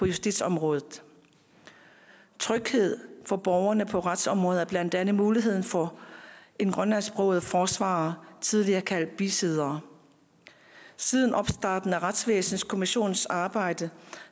justitsområdet tryghed for borgerne på retsområdet er blandt andet muligheden for en grønlandsksproget forsvarer tidligere kaldet bisidder siden opstarten af retsvæsenskommissionens arbejde